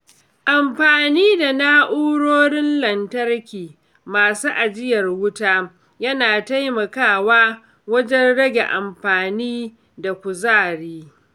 Amfani da na’urorin lantarki masu ajiyar wuta yana taimakawa wajen rage amfani da kuzari.